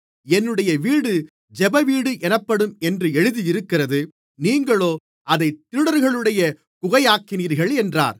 என்னுடைய வீடு ஜெபவீடு எனப்படும் என்று எழுதியிருக்கிறது நீங்களோ அதைக் திருடர்களுடைய குகையாக்கினீர்கள் என்றார்